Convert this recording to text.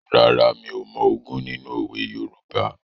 Rárá, mi ò mọ ogún nínú òwe Yorùbá.